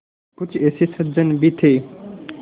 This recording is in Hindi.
कुछ ऐसे सज्जन भी थे